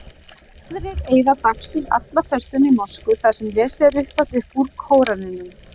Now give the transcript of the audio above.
Aðrir eyða dagstund alla föstuna í mosku þar sem lesið er upphátt upp úr Kóraninum.